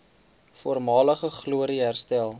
voormalige glorie herstel